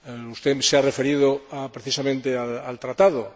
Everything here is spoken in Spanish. Usted se ha referido precisamente al Tratado.